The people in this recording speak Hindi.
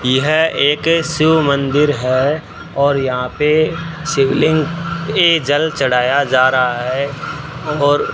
यह एक शिव मंदिर है और यहां पे शिवलिंग पे जल चढ़ाया जा रहा है और --